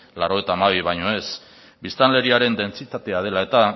laurogeita hamabi baino ez biztanleriaren dentsitatea dela eta